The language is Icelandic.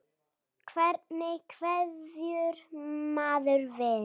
Hvernig kveður maður vin?